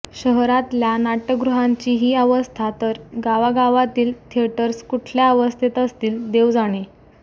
शहरातल्या नाटय़गृहांची ही अवस्था तर गावागावातील थिएटर्स कुठल्या अवस्थेत असतील देव जाणे